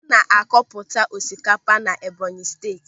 Ana akọ pụta osikapa na Ebọnyi Steeti.